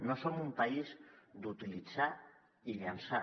no som un país d’utilitzar i llençar